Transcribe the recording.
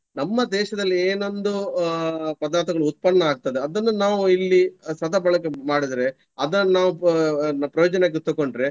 ನಮ್ಮ ದೇಶದಲ್ಲಿ ಏನೊಂದು ಅಹ್ ಪದಾರ್ಥಗಳು ಉತ್ಪನ್ನ ಆಗ್ತದಾ. ಅದನ್ನು ನಾವು ಇಲ್ಲಿ ಸದಬಳಕೆ ಮಾಡಿದ್ರೆ ಅದನ್ನು ನಾವು ಅಹ್ ಪ್ರಯೋಜನಕ್ಕೆ ತಕೊಂಡ್ರೆ.